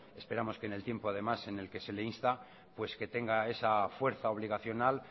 esperamos que en el tiempo de más en el que se le insta pues que tenga esa fuerza obligacional